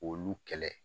K'olu kɛlɛ